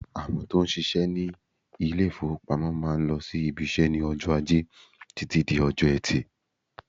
Àwọn tó ń ṣiṣẹ́ ní ilé-ìfowópamọ́ máà ń lọ sí ibiṣẹ́ ní ọjọ́ Ajẹ́ títí di ọjọ́ Ẹtì.